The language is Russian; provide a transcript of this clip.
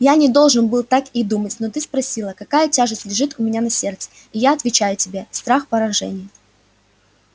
я не должен был так и думать но ты спросила какая тяжесть лежит у меня на сердце и я отвечаю тебе страх поражения